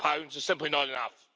is simply not enough.